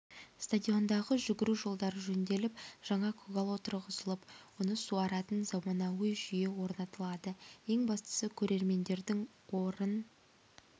стадиондағы жүгіру жолдары жөнделіп жаңа көгал отырғызылып оны суаратын заманауи жүйе орнатылады ең бастысы көрермендердің орын